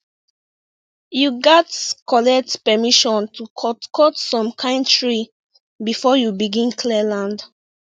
you gats collect permission to cut cut some kind tree before you begin clear land